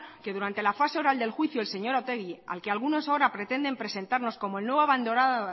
que durante la fase oral del juicio el señor otegi al que algunos ahora pretenden presentarnos como el nuevo